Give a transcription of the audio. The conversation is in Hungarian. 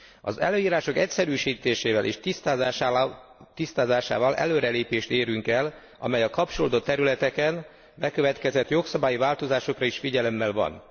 Az előírások egyszerűsítésével és tisztázásával előrelépést érünk el, amely a kapcsolódó területeken bekövetkezett jogszabályi változásokra is figyelemmel van.